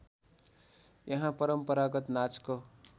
यहाँ परम्परागत नाचको